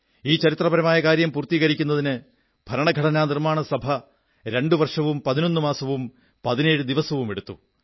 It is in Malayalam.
ഈ ചരിത്രപരമായ കാര്യം പൂർത്തീകരിക്കുന്നതിന് ഭരണഘടനാനിർമ്മാണ സഭ രണ്ടു വർഷവും 11 മാസവും 17 ദിവസവും എടുത്തു